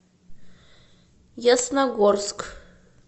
ясногорск